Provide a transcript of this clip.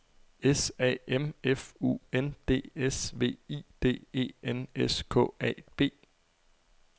S A M F U N D S V I D E N S K A B